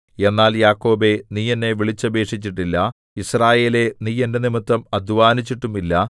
എന്നാൽ യാക്കോബേ നീ എന്നെ വിളിച്ചപേക്ഷിച്ചിട്ടില്ല യിസ്രായേലേ നീ എന്റെ നിമിത്തം അദ്ധ്വാനിച്ചിട്ടുമില്ല